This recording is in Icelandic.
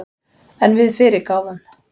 En við fyrirgáfum